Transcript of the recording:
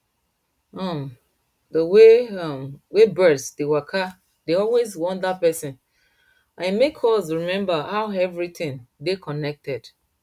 um dey way um wey birds dey waka dey always wonder person and e make us remember how everything dey connected